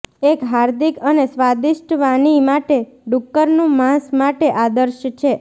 એક હાર્દિક અને સ્વાદિષ્ટ વાની માટે ડુક્કરનું માંસ માટે આદર્શ છે